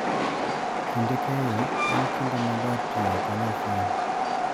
Kinde keyo, en kinde maber tiyo kanyachiel.